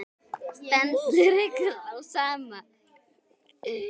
Stendur ykkur á sama?